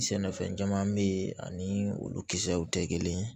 Sɛnɛfɛn caman be yen ani olu kisɛw tɛ kelen ye